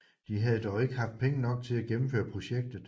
De havde dog ikke haft penge nok til at gennemføre projektet